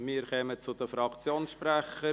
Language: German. Wir kommen zu den Fraktionssprechern.